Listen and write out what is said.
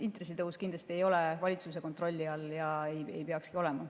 Intressitõus kindlasti ei ole valitsuse kontrolli all ja ei peakski olema.